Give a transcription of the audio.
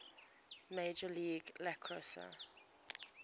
major league lacrosse